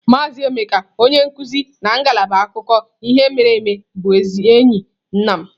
Maazị Emeka onye nkuzi na ngalaba akụkọ ihe mere eme bụ enyi nna m.